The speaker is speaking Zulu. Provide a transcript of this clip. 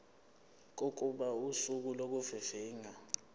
kokuba usuku lokuvivinywa